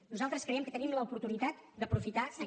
nosaltres creiem que tenim l’oportunitat d’aprofitar aquest